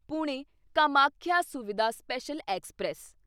Pune Kamakhya Suvidha special express